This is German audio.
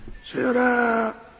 Sehr geehrter Herr Martin!